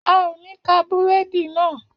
A ò ní ka búrẹ́dì náà